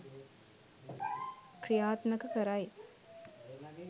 ක්‍රියාත්මක කරයි.